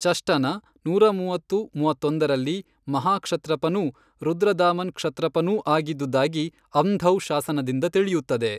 ಚಷ್ಟನ ನೂರಮೂವತ್ತು-ಮೂವತ್ತೊಂದರಲ್ಲಿ ಮಹಾಕ್ಷತ್ರಪನೂ ರುದ್ರದಾಮನ್ ಕ್ಷತ್ರಪನೂ ಆಗಿದ್ದುದಾಗಿ ಅಂಧೌ ಶಾಸನದಿಂದ ತಿಳಿಯುತ್ತದೆ.